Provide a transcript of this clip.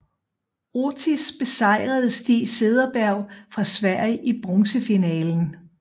Ortiz besejrede Stig Cederberg fra Sverige i bronzefinalen